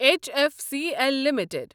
H F C L limited